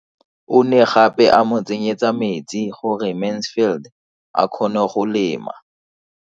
O ne gape a mo tsenyetsa metsi gore Mansfield a kgone go lema.